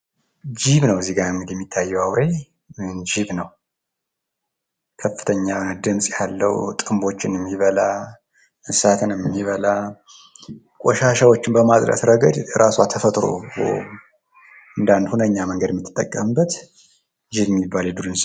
ጅብ ነው እዚጋ እንግዲህ ከዚ ጋር የሚታየው አውሬ ጅብ ነው። ከፍተኛ ድምጽ ያለው ጥንቦችን የሚበላ፣ እንስሳትን የሚበላ ቆሻሻዎችን በማጽዳት ረገድ እራሷ ተፈጥሮ እንደአንድ ሁነኛ መንገድ የምጠቀምበት እጅግ የሚባል የዱር እንስሳ ነው።